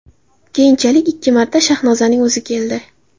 Keyinchalik ikki marta Shahnozaning o‘zi keldi.